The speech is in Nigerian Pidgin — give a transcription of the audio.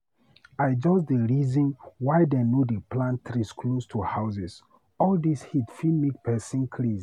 I just dey reason why dem no dey plant trees close to houses, all dis heat fit make pesin craze.